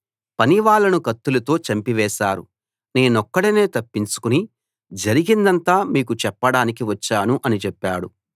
పనివాళ్ళను కత్తులతో చంపివేశారు నేనొక్కడినే తప్పించుకుని జరిగిందంతా మీకు చెప్పడానికి వచ్చాను అని చెప్పాడు